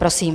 Prosím.